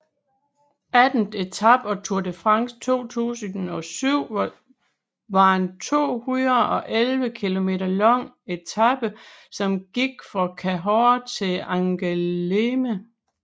Attende etape af Tour de France 2007 var en 211 km lang etape som gik fra Cahors til Angoulême